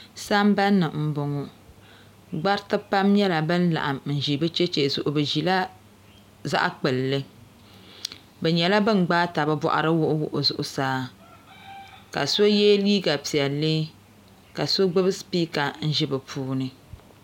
samban ni m bɔŋɔ gbarti pam nyala ban laɣim n ʒi be chɛchɛ nima zuɣu be ʒila zaɣ kpilli be nyɛla ban gbibi taba bɔɣri wuɣi zuɣsaa ka so yɛ liiga pɛlli ka so gbibi sipiika n ʒi be puuni